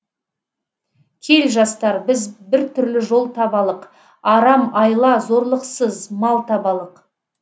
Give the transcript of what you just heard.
кел жастар біз бір түрлі жол табалық арам айла зорлықсыз мал табалық